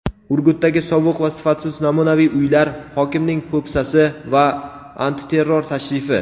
Urgutdagi sovuq va sifatsiz namunaviy uylar: hokimning po‘pisasi va antiterror tashrifi.